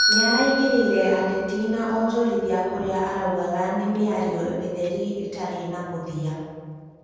nĩaraingĩrĩire ateti na onjorithia kũrĩa araugaga no mĩario mĩtheri ĩtarĩ na mũthia